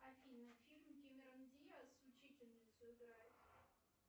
афина фильм кэмерон диас учительницу играет